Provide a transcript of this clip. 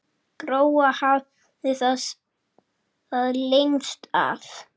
Gróa hafði það lengst af.